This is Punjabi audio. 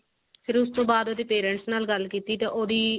ਫਿਰ ਉਸ ਤੋਂ ਬਾਦ ਉਹਦੇ parents ਨਾਲ ਗੱਲ ਕੀਤੀ ਤਾ ਉਹਦੀ